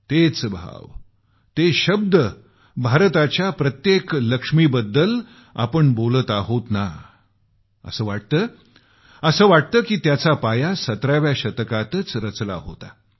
तेच भाव ते शब्द भारताच्या प्रत्येक लक्ष्मीबद्दल आपण जे बोलत आहोत ना असं वाटतं की त्याचा पाया 17 व्या शतकातच रचला होता